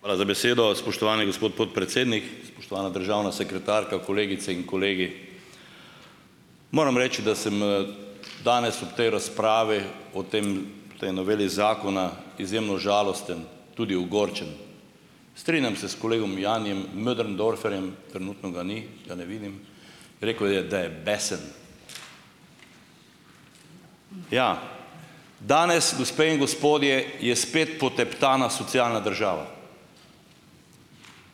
Hvala za besedo. Spoštovani gospod podpredsednik, spoštovana državna sekretarka, kolegice in kolegi. Moram reči, da sem danes ob tej razpravi o tem tej noveli zakona izjemno žalosten, tudi ogorčen. Strinjam se s kolegom Janijem Möderndorferjem, trenutno ga ni, ga ne vidim, rekel je, da je besen. Ja, danes, gospe in gospodje, je spet poteptana socialna država.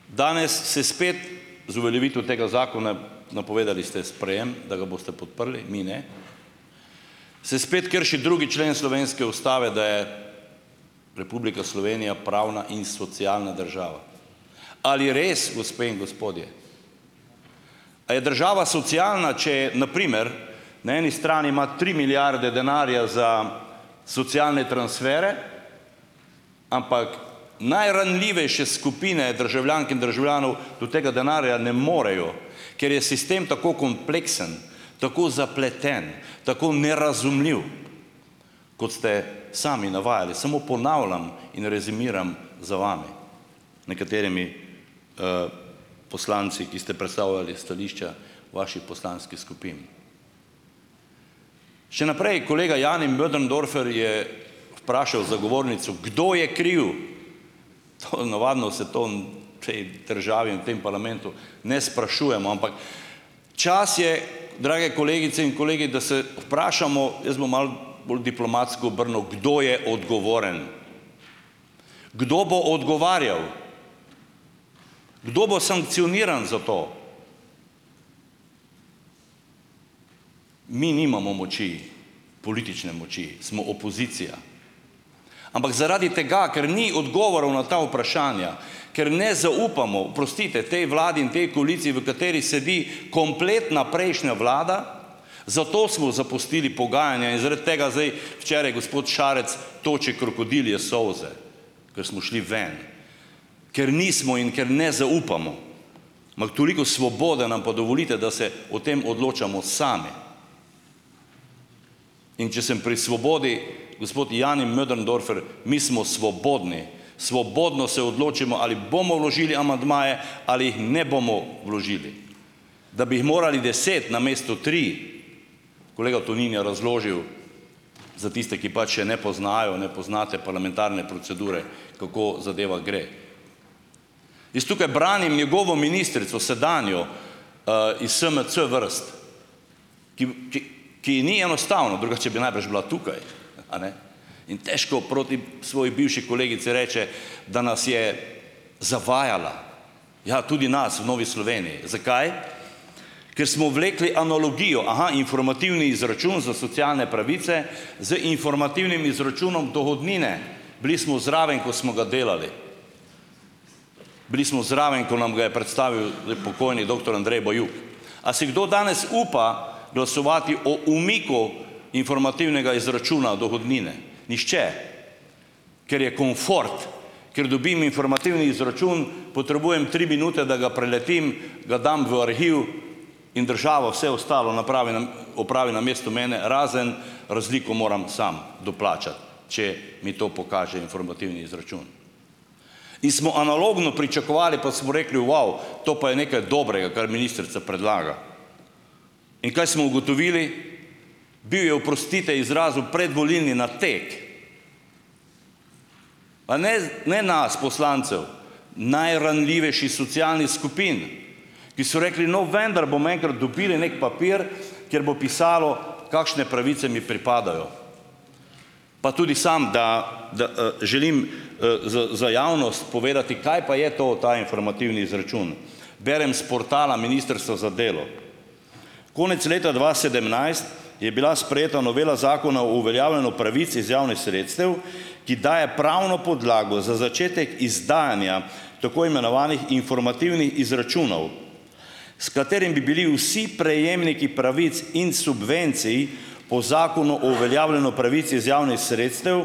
Danes se spet z uveljavitvijo tega zakona, napovedali ste sprejem, da ga boste podprli, mi ne, se spet krši drugi člen slovenske ustave, da je Republika Slovenija pravna in socialna država. Ali res, gospe in gospodje? A je država socialna, če je na primer na eni strani ima tri milijarde denarja za socialne transfere, ampak najranljivejše skupine državljank in državljanov do tega denarja ne morejo, ker je sistem tako kompleksen, tako zapleten, tako nerazumljiv, kot ste sami navajali. Samo ponavljam in rezimiram za vami, nekaterimi poslanci, ki ste predstavljali stališča vaših poslanskih skupin. Še naprej, kolega Jani Möderndorfer je vprašal za govornico, kdo je kriv. To navadno se to v tej državi in v tem parlamentu ne sprašujemo, ampak čas je, drage kolegice in kolegi, da se vprašamo, jaz bom malo bolj diplomatsko obrnil, kdo je odgovoren, kdo bo odgovarjal, kdo bo sankcioniran za to? Mi nimamo moči, politične moči, smo opozicija. Ampak zaradi tega, ker ni odgovorov na ta vprašanja, ker ne zaupamo, oprostite, tej vladi in tej koaliciji, v kateri sedi kompletna prejšnja vlada, zato smo zapustili pogajanja in zaradi tega zdaj, včeraj gospod Šarec toči krokodilje solze, ker smo šli ven, ker nismo in ker ne zaupamo. Ampak toliko svobode nam pa dovolite, da se o tem odločamo sami. In če sem pri svobodi, gospod Jani Möderndorfer, mi smo svobodni, svobodno se odločimo, ali bomo vložili amandmaje ali jih ne bomo vložili. Da bi jih morali deset namesto tri, kolega Tonin je razložil za tiste, ki pač še ne poznajo, ne poznate parlamentarne procedure, kako zadeva gre. Jaz tukaj branim njegovo ministrico, sedanjo iz SMC vrst, ki ki ki ji ni enostavno, drugače bi najbrž bila tukaj. Eni. In težko proti svoji bivši kolegici reče, da nas je zavajala. Ja, tudi nas v Novi Sloveniji. Zakaj? Ker smo vlekli analogijo, aha, informativni izračun za socialne pravice z informativnim izračunom dohodnine. Bili smo zraven, ko smo ga delali. Bili smo zraven, ko nam ga je predstavil pokojni doktor Andrej Bajuk. A si kdo danes upa glasovati o umiku informativnega izračuna dohodnine? Nihče. Ker je komfort, ker dobim informativni izračun, potrebujem tri minute, da ga preletim, ga dam v arhiv in država vse ostalo napravi opravi namesto, razen razliko moram samo doplačati, če mi to pokaže informativni izračun. In smo analogno pričakovali, pa smo rekli, vau, to pa je nekaj dobrega, kar ministrica predlaga. In kaj smo ugotovili? Bil je, oprostite izrazu, predvolilni nateg, pa ne ne nas poslancev, najranljivejših socialnih skupin, ki so rekli: "No, vendar bomo enkrat dobili neki papir, kjer bo pisalo, kakšne pravice mi pripadajo." Pa tudi samo da da želim za za javnost povedati, kaj pa je to ta informativni izračun berem s portala Ministrstva za delo: "Konec leta dva sedemnajst je bila sprejeta novela Zakona o uveljavljanju pravic iz javnih sredstev, ki daje pravno podlago za začetek izdajanja tako imenovanih informativnih izračunov, s katerimi bi bili vsi prejemniki pravic in subvencij po Zakonu o uveljavljanju pravic iz javnih sredstev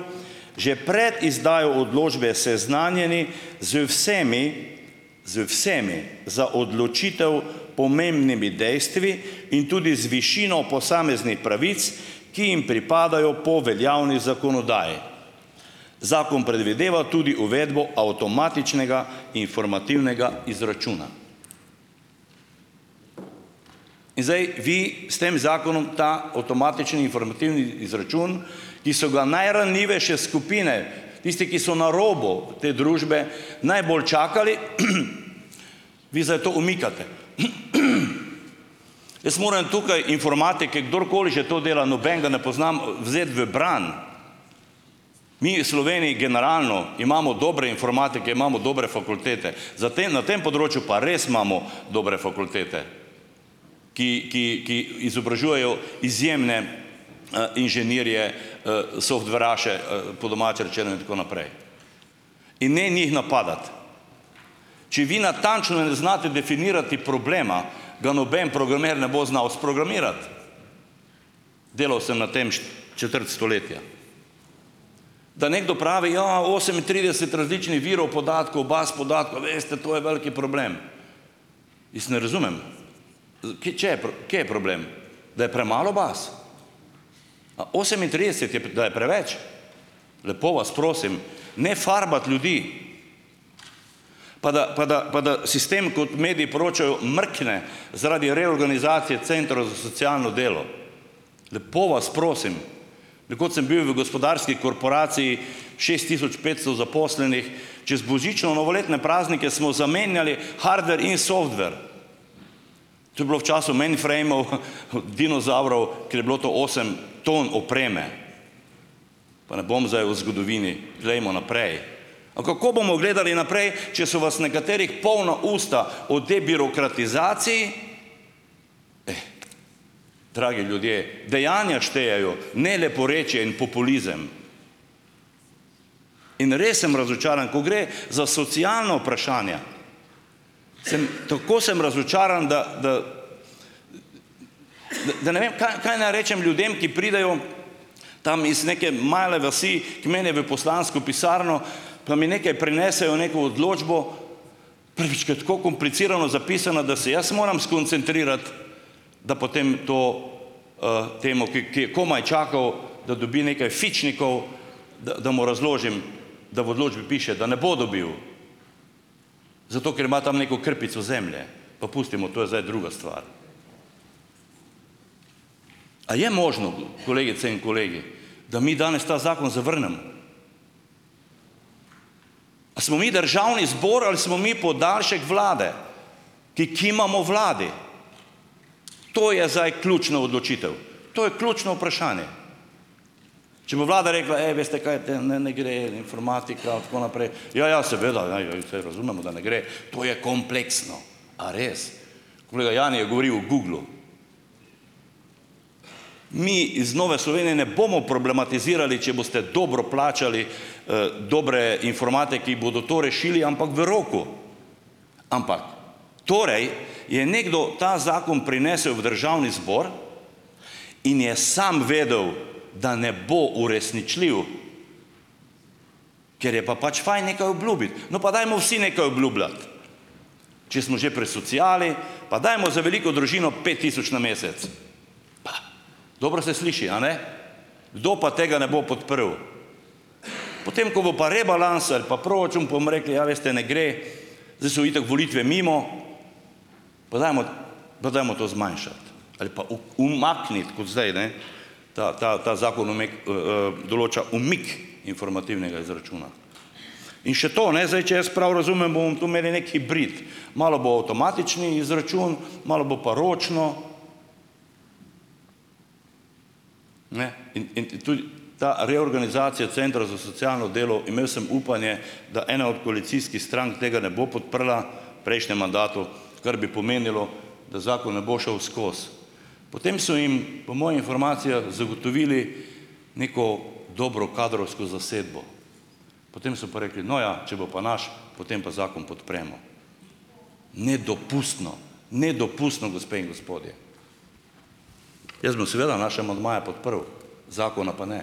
že pred izdajo odločbe seznanjeni z vsemi z vsemi za odločitev pomembnimi dejstvi in tudi z višino posameznih pravic, ki jim pripadajo po veljavni zakonodaji. Zakon predvideva tudi uvedbo avtomatičnega informativnega izračuna." In zdaj vi s tem zakonom ta avtomatični informativni izračun, ki so ga najranljivejše skupine, tisti, ki so na robu te družbe, najbolj čakali, vi zdaj to umikate. Jaz moram tukaj informatike - kdorkoli že to dela, nobenega ne poznam - vzeti v bran. Mi v Sloveniji generalno imamo dobre informatike, imamo dobre fakultete, za te na tem področju pa res imamo dobre fakultete, ki ki ki izobražujejo izjemne inženirje "softveraše", po domače rečeno, in tako naprej. In ne njih napadati! Če vi natančno ne znate definirati problema, ga noben programer ne bo znal sprogramirati; delal sem na tem četrt stoletja. Da nekdo pravi: "Ja, osemintrideset različnih virov podatkov, baz podatkov, veste, to je veliki problem ..." Jaz ne razumem, ker če kje je problem? Da je premalo baz? A osemintrideset, je da je preveč? Lepo vas prosim! Ne farbati ljudi! Pa da pa da pa da sistem, kot mediji poročajo, mrkne zaradi reorganizacije centrov za socialno delo. Lepo vas prosim! Nekoč sem bil v gospodarski korporaciji, šest tisoč petsto zaposlenih, čez božično-novoletne praznike smo zamenjali hardver in softver. To je bilo v času "mainframov", dinozavrov, ker je bilo to osem ton opreme; pa ne bom zdaj o zgodovini, glejmo naprej. A kako bomo gledali naprej, če so vas nekaterih polna usta o tej birokratizaciji! Eh, dragi ljudje, dejanja štejejo, ne leporečje in populizem. In res sem razočaran. Ko gre za socialna vprašanja, sem tako sem razočaran, da da da da ne vem, kaj naj rečem ljudem, ki pridejo tam iz neke male vasi k meni v poslansko pisarno, pa mi nekaj prinesejo, neko odločbo, ki je tako komplicirano zapisana, da se jaz moram skoncentrirati, da potem to temu, ki ki je komaj čakal, da dobi nekaj fičnikov, da da mu razložim, da v odločbi piše, da ne bo dobil, zato ker ima tam neko krpico zemlje; pa pustimo, to je zdaj druga stvar. A je možno, kolegice in kolegi, da mi danes ta zakon zavrnemo? A smo mi Državni zbor ali smo mi podaljšek Vlade, ki kimamo Vladi? To je zdaj ključna odločitev, to je ključno vprašanje. Če bo Vlada rekla, ej, veste kaj, ne, ne gre, informatika in tako naprej - ja, ja, seveda, ja, ja saj razumemo, da ne gre, to je kompleksno. A res? Kolega Jani je govoril o Googlu. Mi iz Nove Slovenije ne bomo problematizirali, če boste dobro plačali dobre informatike, ki bodo to rešili, ampak v roku. Ampak. Torej je nekdo ta zakon prinesel v Državni zbor in je samo vedel, da ne bo uresničljiv, ker je pa pač fajn nekaj obljubiti. No, pa dajmo vsi nekaj obljubljati! Če smo že pri sociali, pa dajmo za veliko družino pet tisoč na mesec! Pa. Dobro se sliši, a ne? Kdo pa tega ne bo podprl! Potem, ko bo pa rebalans ali pa proračun, pa bomo rekli, ja, veste, ne gre, zdaj so itak volitve mimo, pa dajmo pa dajmo to zmanjšati ali pa umakniti kot zdaj, ne, ta ta ta zakon umek določa umik informativnega izračuna. In še to, ne zdaj če jaz prav razumem, bomo tu imeli neki hibrid, malo bo avtomatični izračun, malo bo pa ročno. Ne? In in tudi ta reorganizacija centra za socialno delo, imel sem upanje, da ena od koalicijskih strank tega ne bo podprla prejšnjem mandatu, kar bi pomenilo, da zakon ne bo šel skozi. Potem so jim po mojih informacijah zagotovili neko dobro kadrovsko zasedbo. Potem so pa rekli, no ja, če bo pa naš, potem pa zakon podpremo. Nedopustno, nedopustno, gospe in gospodje. Jaz bom seveda naše amandmaje podprl, zakona pa ne.